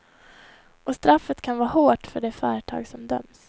Och straffet kan vara hårt för det företag som döms.